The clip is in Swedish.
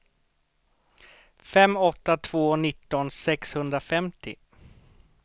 fem åtta två två nitton sexhundrafemtio